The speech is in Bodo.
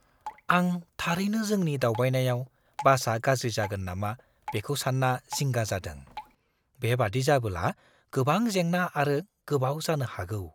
आं थारैनो जोंनि दावबायनायाव बासआ गाज्रि जागोन नामा बेखौ सान्ना जिंगा जादों; बेबादि जाबोला गोबां जेंना आरो गोबाव जानो हागौ।